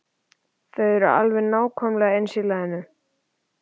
Þau eru alveg nákvæmlega eins í laginu.